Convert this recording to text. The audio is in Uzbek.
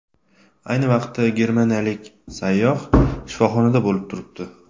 Ayni vaqtda germaniyalik sayyoh shifoxonada bo‘lib turibdi.